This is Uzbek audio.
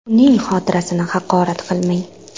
Uning xotirasini haqorat qilmang!